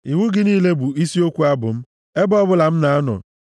Iwu gị niile bụ isi okwu abụ m ebe ọbụla m na-anọ.